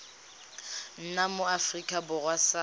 nna mo aforika borwa sa